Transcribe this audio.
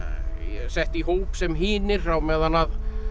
sett í hóp sem hinir á meðan